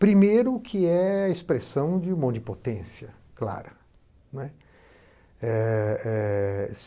Primeiro, que é a expressão de uma onipotência, claro, né. Eh eh